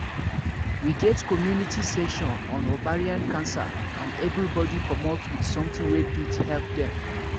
we get community session on ovarian cancer and everybody commot with something wey fit help dem